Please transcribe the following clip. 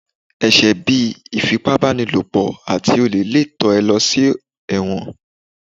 ẹsẹ bí Ifípábanílopo atí olè lé tán e lo sí ẹwọ́n